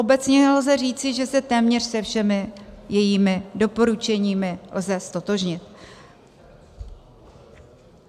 Obecně lze říci, že se téměř se všemi jejími doporučeními lze ztotožnit.